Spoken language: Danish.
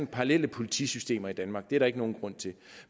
parallelle politisystemer i danmark det er der ikke nogen grund til